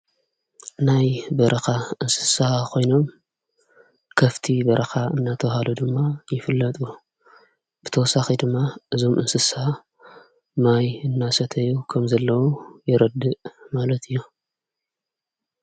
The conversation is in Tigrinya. ናይ በረኻ እንስሳ ኾይኖም ከፍቲ በረኻ እናተውሃሉ ድማ ይፍለጡ ብተወሳኺ ድማ እዞም እንስሳ ማይ እናሰተዩ ከም ዘለዉ የረድእ ማለት እዮም።